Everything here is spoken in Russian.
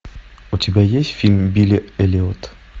у тебя есть фильм билли эллиот